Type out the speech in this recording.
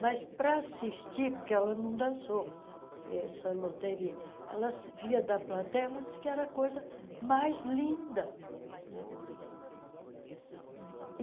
Mas, para assistir, porque ela não dançou essa loteria, ela via da plateia ela diz que era a coisa mais linda.